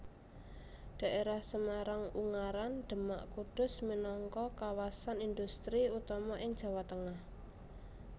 Dhaérah Semarang Ungaran Demak Kudus minangka kawasan indhustri utama ing Jawa Tengah